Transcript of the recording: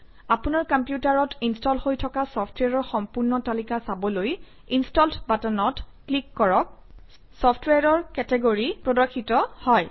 আপোনাৰ কম্পিউটাৰত ইনষ্টল হৈ থকা চফট্ৱেৰৰ সম্পূৰ্ণ তালিকা চাবলৈ ইনষ্টলড বাটনত ক্লিক কৰক চফট্ৱেৰৰ কেটেগৰী প্ৰদৰ্শিত হয়